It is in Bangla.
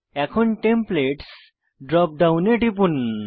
এখন টেমপ্লেটস ড্রপ ডাউনে টিপুন